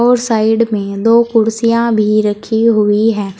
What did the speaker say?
उस साइड में दो कुर्सियां भी रखी हुई है।